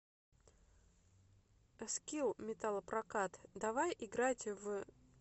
скилл металлопрокат давай играть в